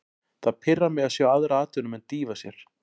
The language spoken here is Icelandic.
Það pirrar mig að sjá aðra atvinnumenn dýfa sér.